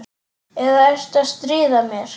Eða ertu að stríða mér?